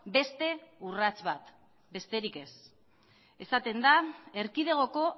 beste urrats bat besterik ez esaten da erkidegoko